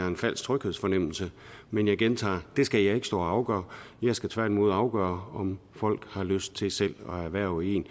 en falsk tryghedsfornemmelse men jeg gentager det skal jeg ikke stå og afgøre jeg skal tværtimod afgøre om folk har lyst til selv at erhverve en